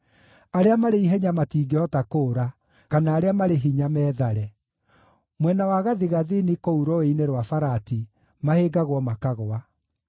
“Arĩa marĩ ihenya matingĩhota kũũra, kana arĩa marĩ hinya meethare. Mwena wa gathigathini kũu Rũũĩ-inĩ rwa Farati mahĩngagwo makagũa.